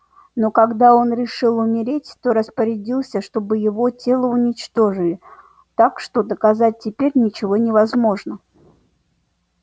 но когда он решил умереть то распорядился чтобы его тело уничтожили так что доказать теперь ничего невозможно